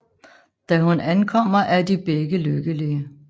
Da hun ankommer er de begge lykkelige